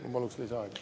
Ma palun lisaaega.